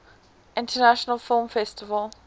international film festival